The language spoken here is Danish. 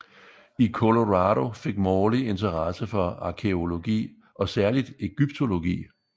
I Colorado fik Morley interesse for arkæologi og særligt ægyptologi